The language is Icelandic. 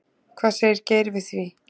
Hvað segir Geir við því?